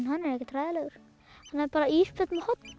hann er ekkert hræðilegur hann er bara ísbjörn með horn